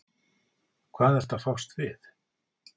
Hvað ertu að fást við?